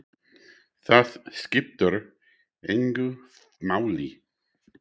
Það skiptir engu máli!